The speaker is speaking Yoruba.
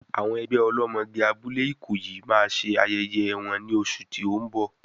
Àwọn ẹgbẹ́ ọlọ́mọge abúlé Ikoyi máa ṣe ayẹyẹ wọn ní oṣù tí ó ń bọ̀.